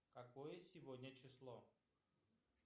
какое сегодня число